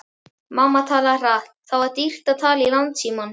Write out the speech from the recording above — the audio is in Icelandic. Mamma talaði hratt, það var dýrt að tala í landsímann.